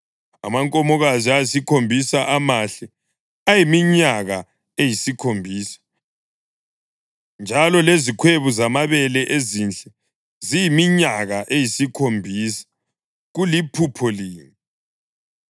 Amankomokazi ayisikhombisa amahle ayiminyaka eyisikhombisa, njalo lezikhwebu zamabele ezinhle ziyiminyaka eyisikhombisa; kuliphupho linye.